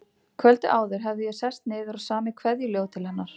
Kvöldið áður hafði ég sest niður og samið kveðjuljóð til hennar.